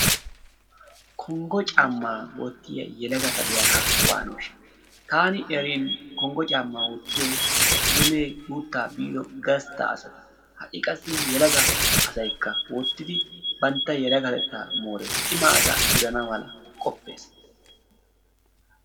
Konggo caammaa wottiya yelagata be'anaappe waanoshsha taani erin konggo caammaa wottiyay eddimme guuttaa biiddo gassta asata ha'i qassi yelaga asay wottiddi bantta yelagatetta moorees cimma asa gidana mala qoppees.